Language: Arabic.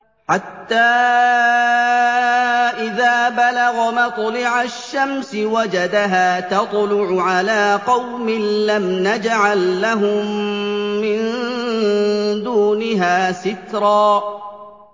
حَتَّىٰ إِذَا بَلَغَ مَطْلِعَ الشَّمْسِ وَجَدَهَا تَطْلُعُ عَلَىٰ قَوْمٍ لَّمْ نَجْعَل لَّهُم مِّن دُونِهَا سِتْرًا